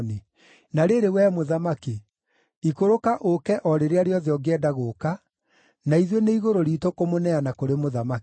Na rĩrĩ, wee mũthamaki, ikũrũka ũũke o rĩrĩa rĩothe ũngĩenda gũũka, na ithuĩ nĩ igũrũ riitũ kũmũneana kũrĩ mũthamaki.”